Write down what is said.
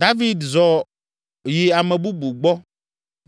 David zɔ yi ame bubu gbɔ,